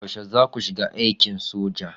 Yaushe zaku shiga aikin soja?